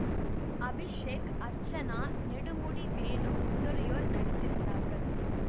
அபிஷேக்அர்ச்சனா நெடுமுடி வேணு முதலியோர் நடித்திருந்தார்கள்